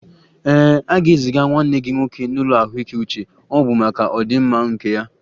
Ee, a ga-eziga nwanne gị nwoke n'ụlọ ahụike uche, ọ bụ maka ọdịmma nke ya